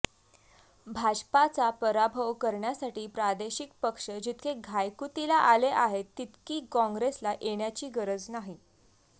भाजपाचा पराभव करण्यासाठी प्रादेशिक पक्ष जितके घायकुतीला आले आहेत तितकी काँग्रेसला येण्याची गरज नाही